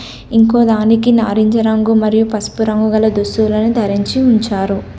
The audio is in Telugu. ఇంకో దానికి నారింజ రంగు మరియు పసుపు రంగు గల దుస్తులను ధరించి ఉంచారు.